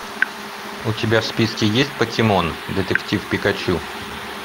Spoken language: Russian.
у тебя в списке есть покемон детектив пикачу